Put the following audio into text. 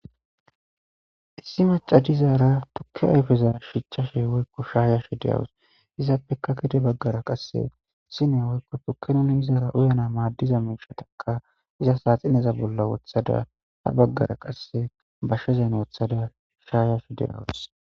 Issi maca dizara tuke ayfeza shayashe de'awus izapeka gede bagara qase sine woyko tuke izara uyana madiza mishata iza saxineza bolla wothada ha bagara qase bashezan wothada shayashe de'awus